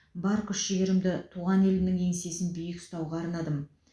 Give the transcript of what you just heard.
бар күш жігерімді туған елімнің еңсесін биік ұстауға арнадым